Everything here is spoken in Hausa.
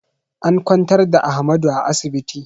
An kwantar da Ahmadu a asibiti